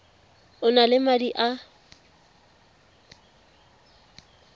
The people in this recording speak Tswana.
o na le madi a